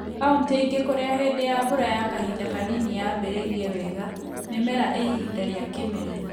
Kauntĩ ingĩ kũrĩa hĩndĩ ya mbura ya kahinda kanini yambĩrĩirie wega, mĩmera ĩ ĩhinda rĩa kĩmera.